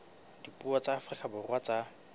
dipuo tsa afrika borwa tsa